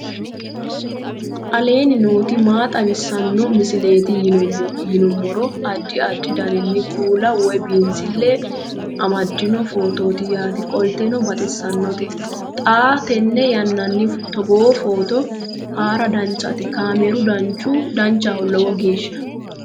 aleenni nooti maa xawisanno misileeti yinummoro addi addi dananna kuula woy biinsille amaddino footooti yaate qoltenno baxissannote xa tenne yannanni togoo footo haara danchate kaameeru danchaho lowo geeshsha